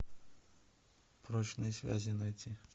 прочные связи найти